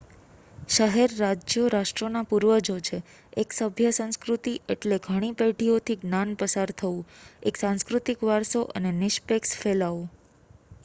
શહેર-રાજ્યો રાષ્ટ્રોના પૂર્વજો છે એક સભ્ય સંસ્કૃતિ એટલે ઘણી પેઢીઓથી જ્ઞાન પસાર થવું એક સાંસ્કૃતિક વારસો અને નીશપેક્ષ ફેલાવો